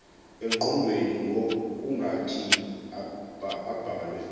engqondweni ngokungathi abhalwe